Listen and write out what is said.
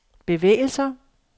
bevægelser